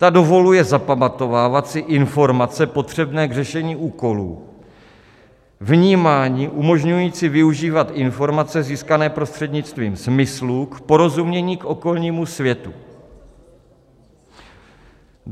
Ta dovoluje zapamatovávat si informace potřebné k řešení úkolů, vnímání umožňující využívat informace získané prostřednictvím smyslů k porozumění k okolnímu světu.